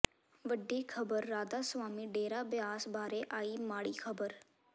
ਵੱਡੀ ਖਬਰ ਰਾਧਾ ਸਵਾਮੀ ਡੇਰਾ ਬਿਆਸ ਬਾਰੇ ਆਈ ਮਾੜੀ ਖਬਰ